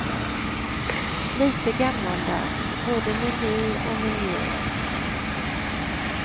Lite gammaldags, både meny och miljö.